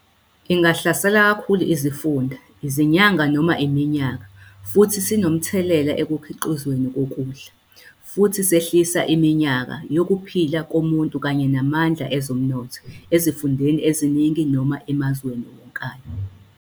Ingahlasela kakhulu izifunda izinyanga noma iminyaka futhi sinomthelela ekukhiqizweni kokudla, futhi sehlisa iminyaka yokuphila komuntu kanye namandla ezomnotho ezifundeni eziningi noma emazweni wonkana.